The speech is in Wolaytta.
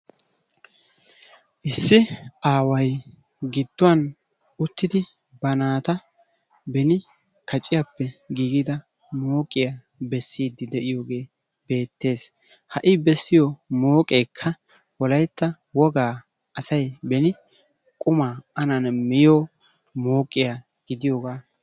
issi aaway giduwan uttidi ba naata beni kacciyappe giigida mooqqiya besiidi de'iyoogee beetees, ha bessiyo mooqee wolaytta wogaa asay ani qumaa miyo mooqiya.